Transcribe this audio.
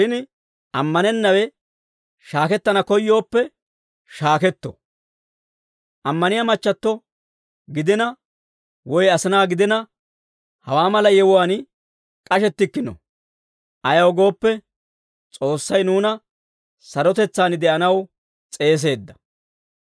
Shin ammanennawe shaakettana koyyooppe shaaketto. Ammaniyaa machchatto gidina, woy asinaa gidina, hawaa mala yewuwaan k'ashettikkino. Ayaw gooppe, S'oossay nuuna sarotetsaan de'anaw s'eeseedda.